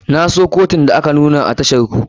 Na so katun da aka nuna a tashar ku.